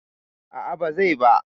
A'a ba zai ba.